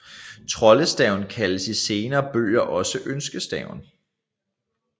Troldestaven kaldes i senere bøger også ønskestaven